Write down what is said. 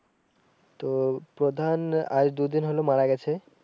তো প্রধান আজ দু দিন হলো মারা গেছে।